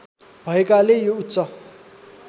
भएकाले यो उच्च